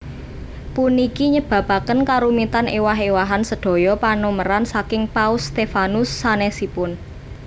Puniki nyebabaken karumitan éwah éwahan sedaya panomeran saking Paus Stephanus sanèsipun